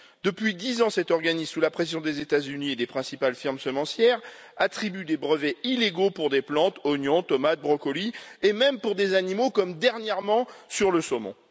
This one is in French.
Depuis dix ans, cet organisme, sous la pression des États Unis et des principales firmes semencières, attribue des brevets illégaux pour des plantes, oignons, tomates, brocolis, et même pour des animaux, comme dernièrement sur le saumon.